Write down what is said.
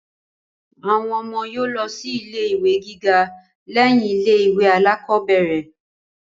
Àwọn ọmọ yóò lọ sí ilé ìwé gíga lẹ́yìn ilé ìwé alákọ́bẹ̀rẹ̀